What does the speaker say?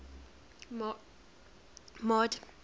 mord